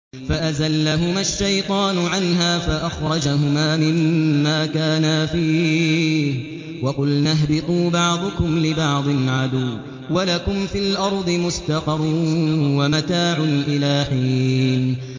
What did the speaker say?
فَأَزَلَّهُمَا الشَّيْطَانُ عَنْهَا فَأَخْرَجَهُمَا مِمَّا كَانَا فِيهِ ۖ وَقُلْنَا اهْبِطُوا بَعْضُكُمْ لِبَعْضٍ عَدُوٌّ ۖ وَلَكُمْ فِي الْأَرْضِ مُسْتَقَرٌّ وَمَتَاعٌ إِلَىٰ حِينٍ